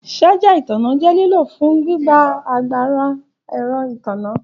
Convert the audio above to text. Ṣaja itanna jẹ lilo fun gbigba agbara ẹrọ itanna.